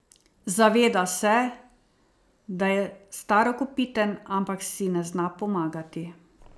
Zaveda se, da je starokopiten, ampak si ne zna pomagati.